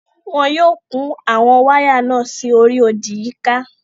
Wọn yóò kun àwọn wáyà náà sí orí odì yíká.